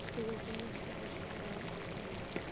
Þú getur ekki misst af þessu geimi.